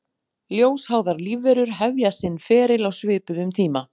Ljósháðar lífverur hefja sinn feril á svipuðum tíma.